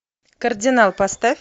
кардинал поставь